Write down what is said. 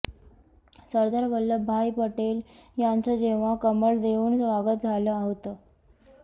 सरदार वल्लभभाई पटेल यांचं जेव्हा कमळ देऊन स्वागत झालं होतं